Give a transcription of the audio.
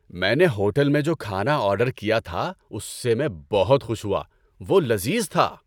میں نے ہوٹل میں جو کھانا آرڈر کیا تھا اس سے میں بہت خوش ہوا۔ وہ لذیذ تھا۔